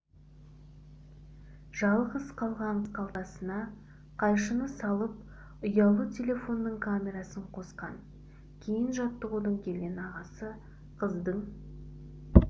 жалғыз қалған қыз қалтасына қайшыны салып ұялы телефонының камерасын қосқан кейін жаттығудан келген ағасы қыздың